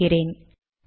தொகுக்கிறேன்